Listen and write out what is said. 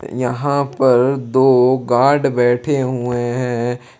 यहां पर दो गार्ड बैठे हुए हैं।